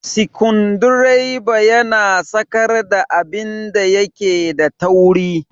sikundireba yana sakar da abinda yake da tauri.